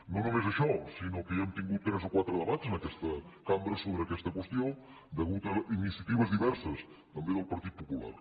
no només això sinó que ja hem tingut tres o quatre debats en aquesta cambra sobre aquesta qüestió a causa d’iniciatives diverses també del partit popular